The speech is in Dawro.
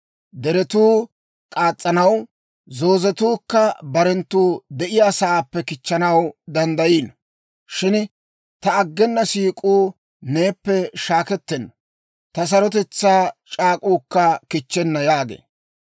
Deretuu k'as's'anaw, zoozetuukka barenttu de'iyaasaappe kichchanaw danddayiino; shin ta aggena siik'uu neeppe shaakettenna; ta sarotetsaa c'aak'uukka kichchenna» yaagee.